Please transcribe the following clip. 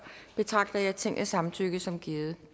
betragter jeg tingets samtykke som givet